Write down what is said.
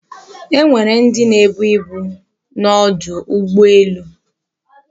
Enwere ndi na-ebu ibu n'odu ugbo elu